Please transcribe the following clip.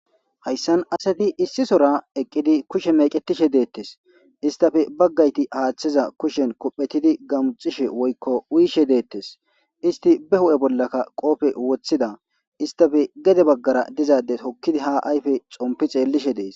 Hayisan asati issi sohora eqidi kushe mec,etishe detes histappe bagati hatha kushen kophetidi gamuc,ishe woyiko uyishe detes histi be huphe bolaka qophe wotiza histappe guye bagara diza adde hokidi ha ayife xompi xelishe dees